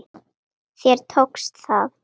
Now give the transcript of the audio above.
Þér tókst það!